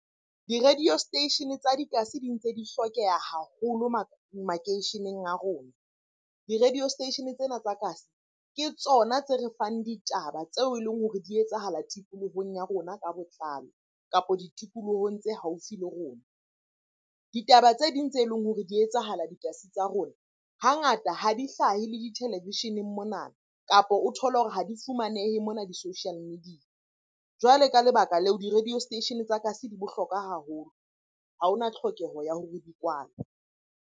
Di-radio station tsa dikasi di ntse di hlokeha haholo makeisheneng a rona. Di-radio station tsena tsa kasi ke tsona tse re fang ditaba tseo e leng hore di etsahala tikolohong ya rona ka botlalo, kapo ditikolohong tse haufi le rona. Ditaba tse ding tse leng hore di etsahala dikasi tsa rona hangata ha di hlahe le ditelevisheneng mona, kapa o thole hore ha di fumanehe mona di-social media. Jwale ka lebaka leo di-radio station tsa kasi di bohlokwa haholo, ha hona tlhokeho ya hore di kwalwe.